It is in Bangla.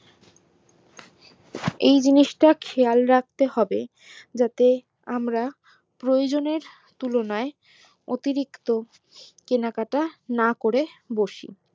এই জিনিষটা খেয়াল রাখতে হবে যাতে আমরা প্রয়োজনের তুলনায় অতিরিক্ত কেনাকাটা না করে ফেলি